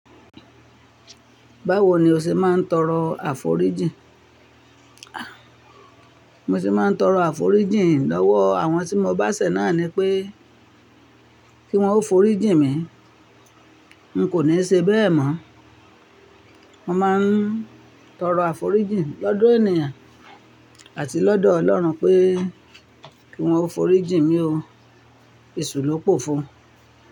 Báwo ni o ṣe máa ń tọrọ àforíjìn? Mo ti máa ń tọrọ àforíjìn lọ́wọ́ àwọn tí mo bá ṣẹ̀ náà ni pé kí wọ́n forí jìn mí. N kò ní ṣe bẹ́ẹ̀ mọ́. Mo máa ń tọrọ àforíjìn lọ́dọ̀ ènìyàn àti lọ́dọ̀ Ọlọ́run pé kí wọ́n forí jìn mí o. Èṣù ló pò fo.